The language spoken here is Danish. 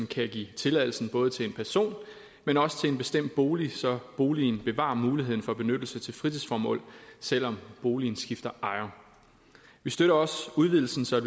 kan give tilladelsen både til en person men også til en bestemt bolig så boligen bevarer muligheden for benyttelse til fritidsformål selv om boligen skifter ejer vi støtter også udvidelsen så